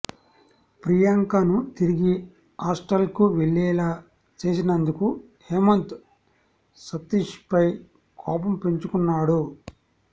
ప్రియాంకను తిరిగి హాస్టల్కు వెళ్లేలా చేసినందుకు హేమంత్ సతీష్పై కోపం పెంచుకున్నాడు